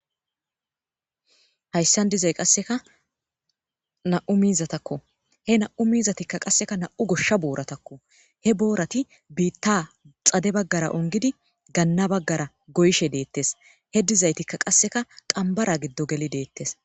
hayssan dizay qasseka na7u miizatakko he na7u miizatikka qasseka na7u goshsha booratakko he boorati biitta xade baggara ongidi ganna baggara goyshe deettes he dizaytikka qasseka qambara giddo geli deettes